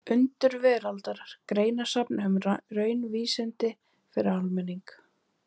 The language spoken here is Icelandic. Undur veraldar: Greinasafn um raunvísindi fyrir almenning.